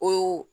O